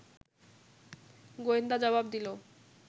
গোয়েন্দা জবাব দিল